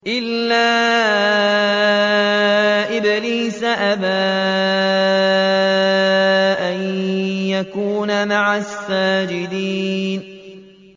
إِلَّا إِبْلِيسَ أَبَىٰ أَن يَكُونَ مَعَ السَّاجِدِينَ